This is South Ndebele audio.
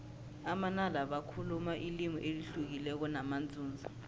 amanala bakhuluma ilimi elihlukileko namanzunza